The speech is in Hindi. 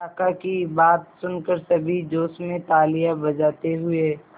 काका की बात सुनकर सभी जोश में तालियां बजाते हुए